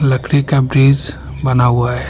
लकड़ी का ब्रिज बना हुआ है।